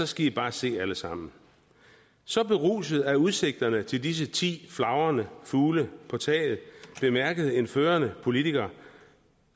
skal i bare se alle sammen så beruset af udsigterne til disse ti flagrende fugle på taget bemærkede en førende politiker